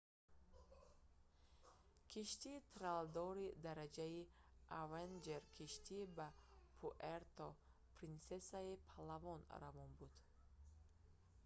киштии тралдори дараҷаи avenger киштӣ ба пуэрто-принсесаи палаван равон буд